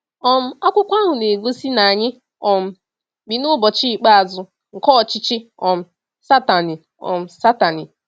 um Akwụkwọ ahụ na-egosi na anyị um bi n’“ụbọchị ikpeazụ” nke ọchịchị um Satani. um Satani.